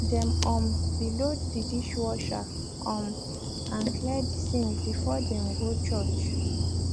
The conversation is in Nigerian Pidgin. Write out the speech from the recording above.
dem um be load de dishwasher um and clear de sink before dem go church